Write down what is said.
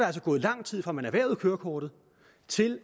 altså gået lang tid fra man erhvervede kørekortet til